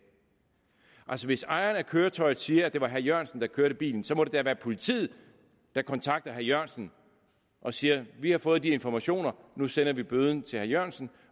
hvis ejeren af køretøjet siger at det var herre jørgensen der kørte bilen så må det da være politiet der kontakter herre jørgensen og siger vi har fået de informationer nu sender vi bøden til herre jørgensen